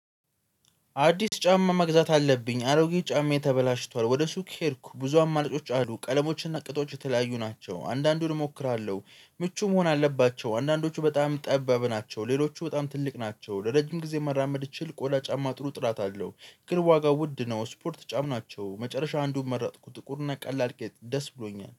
አዲስ ጫማ መግዛት አለብኝ አሮጌ ጫማየ ተበላሽቷል ወደ ሱቅ ሄድኩ ብዙ አማራጮች አሉ ቀለሞችና ቅጦች የተለያዩ ናቸው አንዳንዱን እሞክራለሁ። ምቹ መሆን አለባቸው አንዳንዶቹ በጣም ጠባብ ናቸው። ሌሎቹ በጣም ትልቅ ናቸው። ለረጅም ጊዜ መራመድ እችል ቆዳ ጫማ ጥሩ ጥራት አለው። ግን ዋጋው ውድ ነው። ስፖርት ጫም ናቸው መጨረሻ አንዱን መረጥኩ። ጥቁር ናቀላል ደስ ብሎኛል